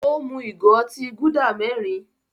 Ó mú ìgò otí Gúdà mẹ́rin.